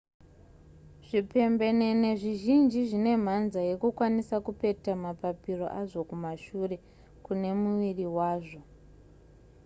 zvipembenene zvizhinji zvine mhanza yekukwanisa kupeta mapapiro azvo kumashure kune muviri wazvo